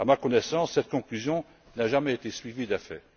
À ma connaissance, cette conclusion n'a jamais été suivie d'effet.